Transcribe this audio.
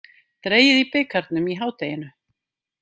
Dregið í bikarnum í hádeginu